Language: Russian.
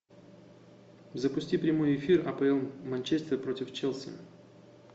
запусти прямой эфир апл манчестер против челси